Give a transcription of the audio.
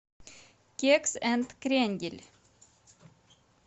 кекс энд крендель